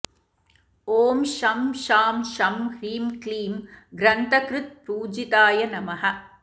ॐ शं शां षं ह्रीं क्लीं ग्रन्थकृत्पूजिताय नमः